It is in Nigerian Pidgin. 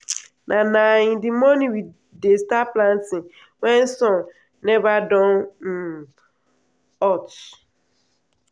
na na in the morning we dey start planting wen sun neva don um hot.